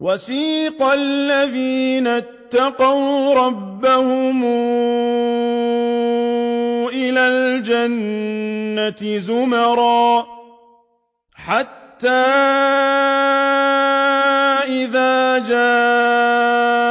وَسِيقَ الَّذِينَ اتَّقَوْا رَبَّهُمْ إِلَى الْجَنَّةِ زُمَرًا ۖ حَتَّىٰ إِذَا جَاءُوهَا